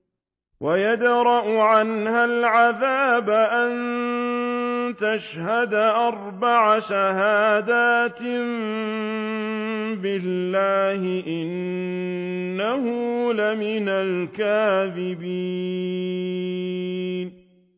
وَيَدْرَأُ عَنْهَا الْعَذَابَ أَن تَشْهَدَ أَرْبَعَ شَهَادَاتٍ بِاللَّهِ ۙ إِنَّهُ لَمِنَ الْكَاذِبِينَ